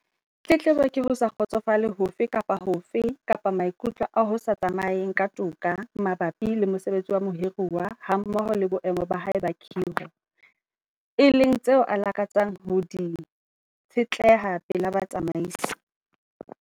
Tletlebo ke ho se kgotsofale hofe kapa hofe kapa maikutlo a ho sa tsamayeng ka toka mabapi le mosebetsi wa mohiruwa hammoho le boemo ba hae ba kgiro, e leng tseo a lakatsang ho di tshetleha pela batsamaisi.